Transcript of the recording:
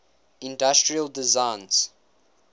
industrial designs